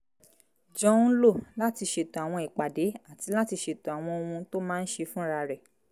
jọ ń lò láti ṣètò àwọn ìpàdé àti láti ṣètò àwọn ohun tó máa ń ṣe fúnra rẹ̀